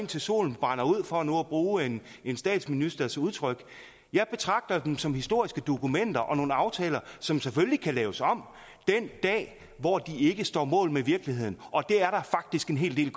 til solen brænder ud for nu at bruge en en statsministers udtryk jeg betragter dem som historiske dokumenter og nogle aftaler som selvfølgelig kan laves om den dag hvor de ikke står mål med virkeligheden og det er der faktisk en hel del